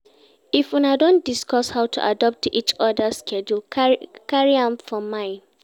If Una don discuss how to adapt to each others schedule carry am for mind